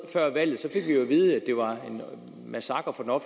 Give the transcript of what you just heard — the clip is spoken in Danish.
før valget fik vi jo at vide at det var en massakre på